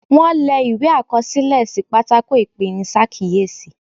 Wón le ìwé àkọsílẹ̀ sí pátákó ipenisakiyesi.